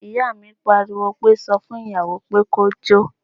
Ìyá mi pariwo pé, sọ fún ìyàwó pé kó jó